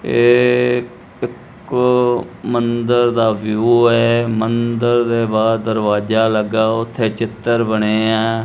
ਏ ਇੱਕ ਮੰਦਰ ਦਾ ਵਿਊ ਹੈ ਮੰਦਰ ਦੇ ਬਾਅਦ ਦਰਵਾਜਾ ਲੱਗਾ ਉਥੇ ਚਿੱਤਰ ਬਣੇ ਆ।